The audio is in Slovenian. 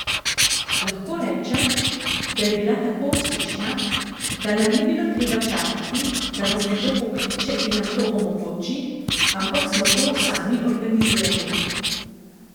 Lahko rečem, da je bila tako uspešna, da nam ni bilo treba čakati, da nas nekdo pokliče in nam to omogoči, ampak smo to sami organizirali.